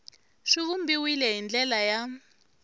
swi vumbiwile hi ndlela ya